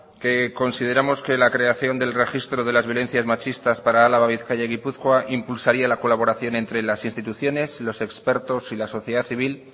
que consideramos que la creación del registro de las violencias machistas para álava bizkaia y gipuzkoa impulsaría la colaboración entre las instituciones los expertos y la sociedad civil